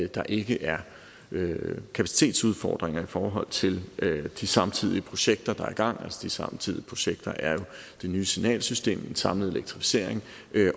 der ikke er kapacitetsudfordringer i forhold til de samtidige projekter der er i gang de samtidige projekter er jo det nye signalsystem den samlede elektrificering